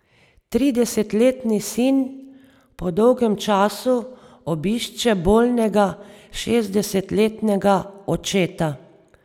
Tridesetletni sin po dolgem času obišče bolnega šestdesetletnega očeta.